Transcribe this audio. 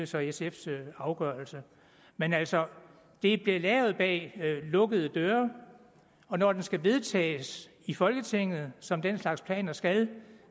så sfs afgørelse men altså det blev lavet bag lukkede døre og når den skal vedtages i folketinget som den slags planer skal